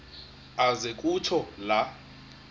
aze kutsho la